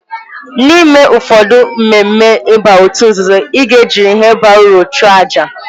N'ime ụfọdụ mmemme ịba òtù nzuzo, ị ga-ejirịrị ihe bara uru chụọ àjà.